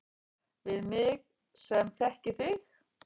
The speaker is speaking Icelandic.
Við mig sem þekki þig.